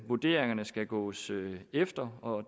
vurderingerne skal gås efter og